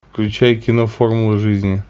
включай кино формула жизни